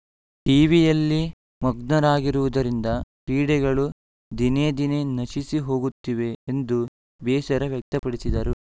ಟಿವಿಯಲ್ಲಿ ಮಗ್ನರಾಗಿರುವುದರಿಂದ ಕ್ರೀಡೆಗಳು ದಿನೇದಿನೆ ನಶಿಸಿ ಹೋಗುತ್ತಿವೆ ಎಂದು ಬೇಸರ ವ್ಯಕ್ತಪಡಿಸಿದರು